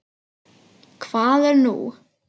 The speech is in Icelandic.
Hvað er nú?